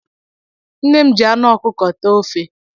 Nne m ji anụ ọkụkọ tee ofe